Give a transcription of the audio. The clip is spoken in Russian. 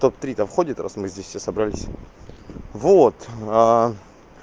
в топ три-то входит раз мы здесь все собрались вот